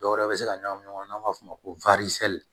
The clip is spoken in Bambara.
Dɔwɛrɛ bɛ se ka ɲagami ɲɔgɔn na n'an b'a f'o ma ko